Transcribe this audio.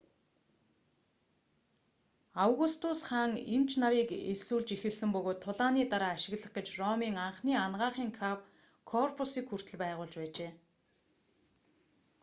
августус хаан эмч нарыг элсүүлж эхэлсэн бөгөөд тулааны дараа ашиглах гэж ромын анхны анагаахын корпусыг хүртэл байгуулж байжээ